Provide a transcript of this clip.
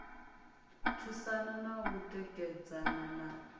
thusana na u tikedzana na